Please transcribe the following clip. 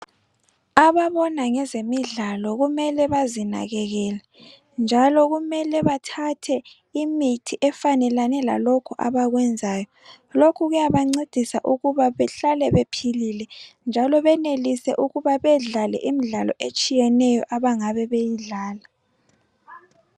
Ababona ngezemidlalo kumele bazinakekele njalo kumele bethathe imithi efanelane lalokhu abakuyenzayo. lokhu kuyancedisa ukuba behlale bephilile njalo benelise ukuba bedlale imidlalo etshiyeneyo ebangabe beyidlala.